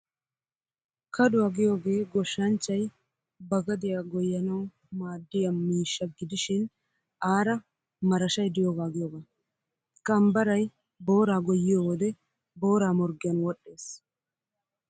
Kaduwaa giyoogee goshshanchchay ba gadiyaa goyyanawu maaddiyaa miishsha gidishin aara marashay diyoogaa giyoogaa. Kambaray booraa goyyiyo wode booraa morggiyaan wodhdhees.